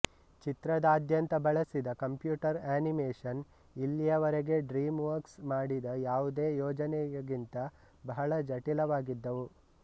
ಚಿತ್ರದಾದ್ಯಂತ ಬಳಸಿದ computer animation ಇಲ್ಲಿಯವರೆಗೆ DreamWorks ಮಾಡಿದ ಯಾವುದೇ ಯೋಜನೆಯಗಿಂತ ಬಹಳ ಜಟಿಲವಾಗಿದ್ದವು